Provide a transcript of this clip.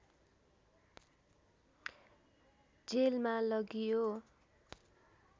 जेलमा लगियो